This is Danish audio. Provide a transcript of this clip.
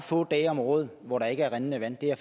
få dage om året hvor der ikke er rindende vand det er